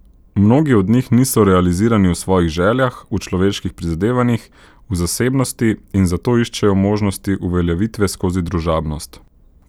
Mnogi od njih niso realizirani v svojih željah, v človeških prizadevanjih, v zasebnosti in zato iščejo možnosti uveljavitve skozi družabnost.